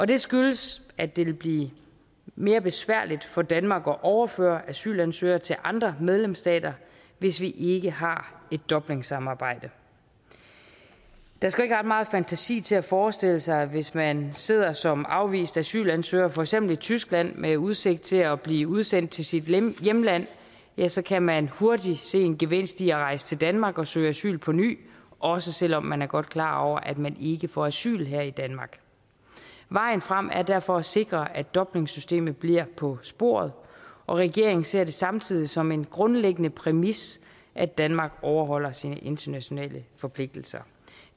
det skyldes at det vil blive mere besværligt for danmark at overføre asylansøgere til andre medlemsstater hvis vi ikke har et dublinsamarbejde der skal ikke ret meget fantasi til at forestille sig hvis man sidder som afvist asylansøger for eksempel i tyskland med udsigt til at blive udsendt til sit hjemland at ja så kan man hurtigt se en gevinst i at rejse til danmark og søge asyl på ny også selv om man godt er klar over at man ikke får asyl her i danmark vejen frem er derfor at sikre at dublinsystemet bliver på sporet regeringen ser det samtidig som en grundlæggende præmis at danmark overholder sine internationale forpligtelser